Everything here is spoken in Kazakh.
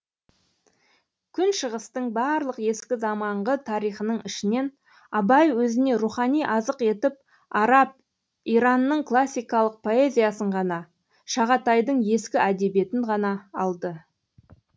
күншығыстың барлық ескі заманғы тарихының ішінен абай өзіне рухани азық етіп араб иранның классикалық поэзиясын ғана шағатайдың ескі әдебиетін ғана алды